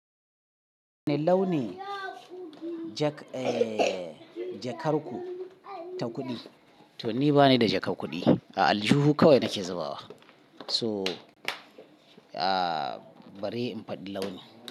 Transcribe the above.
Wane launi jak, eh, jakar ku ta kuɗi? To ni bani da jakar kuɗi. A aljihu kawai nake zubawa. So, ah, bare in faɗi launin.